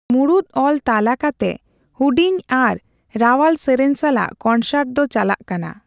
ᱢᱩᱬᱩᱛ ᱚᱞ ᱛᱟᱞᱟ ᱠᱟᱛᱮ, ᱦᱩᱰᱤᱧ ᱟᱨ ᱨᱟᱣᱟᱞ ᱥᱮᱨᱮᱧ ᱥᱟᱞᱟᱜ ᱠᱚᱱᱥᱟᱨᱴ ᱫᱚ ᱪᱟᱞᱟᱜ ᱠᱟᱱᱟ ᱾